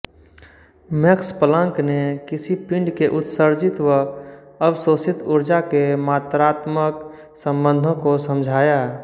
max Planck ने किसी पिंड के उत्सर्जित व अवशोषित ऊर्जा के मात्रात्मक संबंधो को समझाया